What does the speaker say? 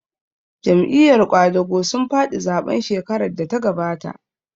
Jam'iyar ƙwadago sun faɗi zaɓen shekarar da ta gabata